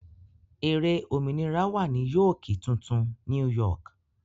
Ère òmìnira wà ní Yóókì tuntun ( New York).